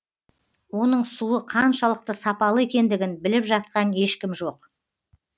оның суы қаншалықты сапалы екендігін біліп жатқан ешкім жоқ